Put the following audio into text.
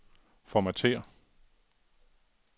formatér